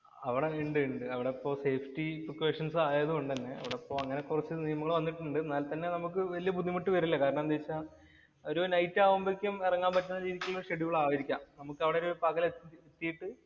അവിടെ ഇണ്ട്. ഇണ്ട്. അവിടെ safety precuation ആയതു കൊണ്ട് തന്നെ അവടെ ഇപ്പൊ കൊറച്ചു നിയമങ്ങള്‍ വന്നിട്ടുണ്ട്. എന്നാല്‍ തന്നെ നമുക്ക് വല്യ ബുദ്ധിമുട്ട് വരില്ല. കാരണം എന്ത് വച്ചാല്‍ ഒരു നൈറ്റ് ആവുമ്പോഴേ എറങ്ങാന്‍ പറ്റുന്ന ഷെഡ്യൂള്‍ ആയിരിക്കാം. നമുക്ക് അവിടെ ഒരു പകല്‍ എത്തിയിട്ട്